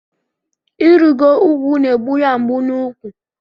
Irigo ugwu n'egbu ya mgbu n'úkwu.